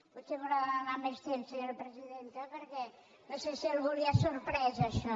potser m’haurà de donar més temps senyora presidenta perquè no sé si a algú l’ha sorprès això